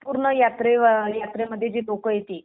पूर्ण यात्रेमध्ये जे लोकं येते